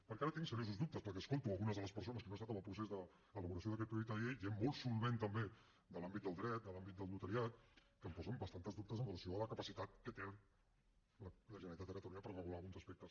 perquè ara tinc seriosos dubtes perquè escolto algunes de les persones que no han estat en el procés d’elaboració d’aquest projecte de llei gent molt solvent també de l’àmbit del dret de l’àmbit del notariat que hem posen bastants dubtes amb relació a la capacitat que té la generalitat de catalunya per regular alguns aspectes